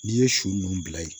N'i ye su ninnu bila yen